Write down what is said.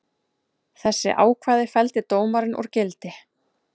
Þessi ákvæði felldi dómarinn úr gildi